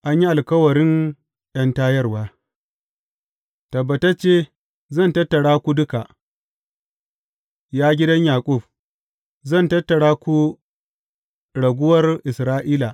An yi alkawarin ’yantarwa Tabbatacce zan tattara ku duka, ya gidan Yaƙub; zan tattara ku raguwar Isra’ila.